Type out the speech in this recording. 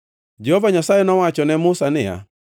Jehova Nyasaye nowacho ne Musa niya,